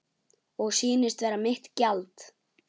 Og sýnist vera mitt gjald.